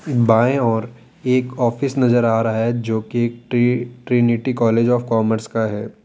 एक बाएं ओर एक ऑफिस नजर आ रहा है जो की T Trinity college of commerce का है।